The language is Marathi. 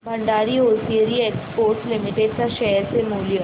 भंडारी होसिएरी एक्सपोर्ट्स लिमिटेड च्या शेअर चे मूल्य